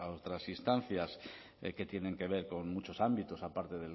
otras instancias que tienen que ver con muchos ámbitos aparte